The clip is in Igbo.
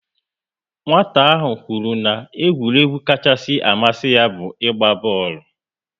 Nwata ahụ kwuru na egwuregwu kachasị amasi ya bu igba booolu